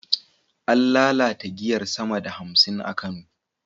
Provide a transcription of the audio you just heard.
An lalata giyar sama da hamsin a Kano